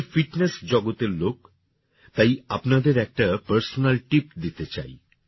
আমি ফিটনেস জগতের লোক তাই আপনাদের একটা পারসোনাল টিপ দিতে চাই